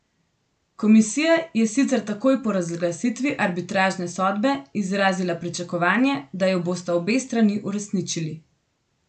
Komisija je sicer takoj po razglasitvi arbitražne sodbe izrazila pričakovanje, da jo bosta obe strani uresničili.